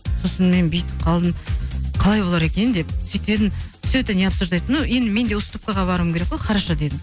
сосын мен бүйтіп қалдым қалай болар екен деп сөйтіп едім все это не обсуждается ну енді менде уступкаға баруым керек қой хорошо дедім